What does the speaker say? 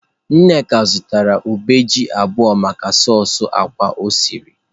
Nneka zụtara ube ji abuo maka soosị ákwá o siri.